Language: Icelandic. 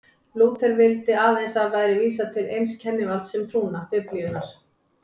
Lúther vildi að aðeins væri vísað til eins kennivalds um trúna, Biblíunnar.